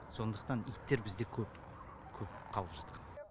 сондықтан иттер бізде көп көп қалып жатқан